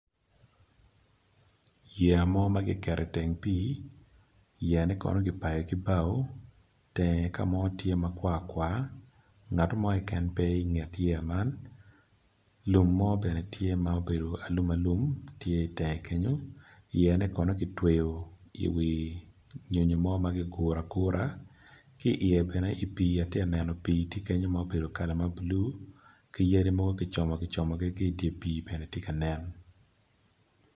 Yeya mo makiketo i teng ping yeya ni kono kicweyo ki bao tenge kamo tye makwar kwar nget mo keken pe i nget yeya man lum mo bene tye ma obedo alum alum tye i tenge kenyo yeya ne kono kitweyo i wi nyonyo mo ma kiguro agura ki iye bene i pi atye neno pi tye kenyo ma obedo kala ma blue kiyadi mogo gicomo gi como ki dipi bene gitye kanen.